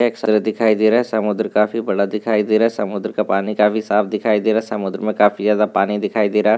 दिखाई दे रहा है समुद्र काफी बड़ा दिखाई दे रहा है समुद्र का पानी काफी साफ दिखाई दे रहा है समुद्र में काफी ज्यादा पानी दिखाई दे रहा है।